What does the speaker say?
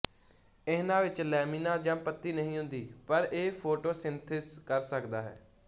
ਇਹਨਾਂ ਵਿੱਚ ਲੈਮੀਨਾ ਜਾਂ ਪੱਤੀ ਨਹੀਂ ਹੁੰਦੀ ਪਰ ਇਹ ਫ਼ੋਟੋਸਿੰਥਸਿਸ ਕਰ ਸਕਦਾ ਹੈ